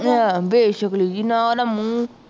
ਹਾਂ ਬੇਸ਼ਕਲੀ ਜਿਹੀ, ਨਾਂ ਨਾ ਮੂੰਹ